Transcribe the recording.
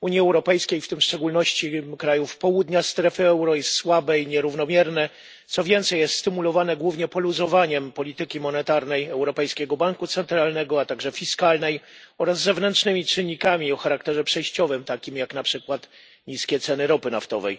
Unii Europejskiej, w szczególności w wielu krajach południa strefy euro, jest słabe i nierównomierne, co więcej jest stymulowane głównie poluzowaniem polityki monetarnej Europejskiego Banku Centralnego, a także fiskalnej, oraz zewnętrznymi czynnikami o charakterze przejściowym, takimi jak na przykład niskie ceny ropy naftowej.